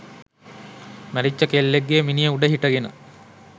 මැරිච්ච කෙල්ලෙක්ගේ මිනිය උඩ හිටගෙන